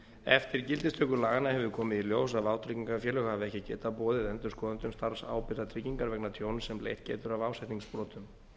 eftir gildistöku laganna hefur komið í ljós að vátryggingafélög hafa ekki getað boðið endurskoðendum starfsábyrgðartryggingar vegna tjóns sem leitt getur af ásetningsbrotum